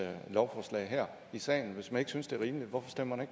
lovforslag her i salen hvis man ikke synes at det er rimeligt hvorfor stemmer